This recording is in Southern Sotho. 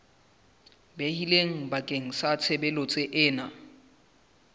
behilweng bakeng sa tshebeletso ena